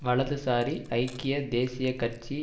வலதுசாரி ஐக்கிய தேசிய கட்சி